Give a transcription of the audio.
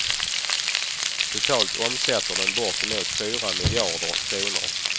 Totalt omsätter den bortemot fyra miljarder kronor.